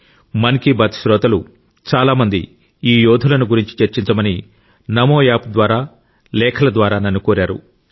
మన్ కి బాత్ శ్రోతలు చాలా మంది ఈ యోధులను గురించి చర్చించమని నమోయాప్ ద్వారా లేఖల ద్వారా నన్ను కోరారు